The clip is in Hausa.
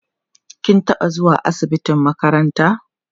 kin taɓa zuwa asibitin makaranta?